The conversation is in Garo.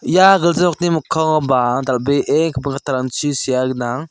ia gilja nokni mikkangoba dal·bee gipin kattarangchi sea gnang.